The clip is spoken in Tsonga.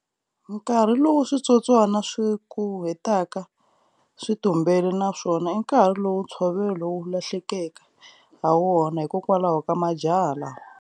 Nkarhi lowu switsotswana swi wu hetaka swi tumbele na swona i nkarhi lowu ntshovelo wu lahlekeke ha wona hikwalaho ka majaha lawa.